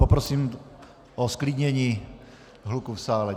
Poprosím o zklidnění hluku v sále.